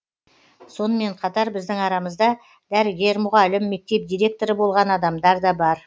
сонымен қатар біздің арамызда дәрігер мұғалім мектеп директоры болған адамдар да бар